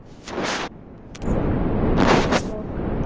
Af hverju eru tennur hvítar?